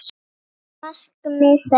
Markmið þeirra.